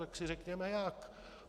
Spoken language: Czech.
Tak si řekněme jak.